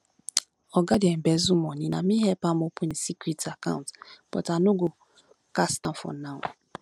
oga dey embezzle money na me help am open im secret account but i no go cast am for now